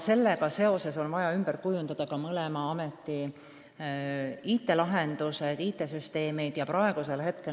Sellega seoses on vaja ümber kujundada mõlema ameti IT-lahendused.